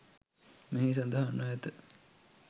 මෙහි සඳහන්වැ ඇත.